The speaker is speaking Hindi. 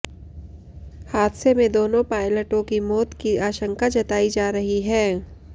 हादसे में दोनों पायलटों की मौत की आशंका जताई जा रही है